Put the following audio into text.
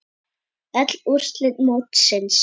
Öll úrslit mótsins